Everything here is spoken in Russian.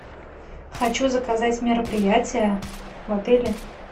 хочу заказать мероприятие в отеле